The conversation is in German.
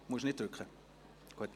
Sie brauchen nicht zu drücken.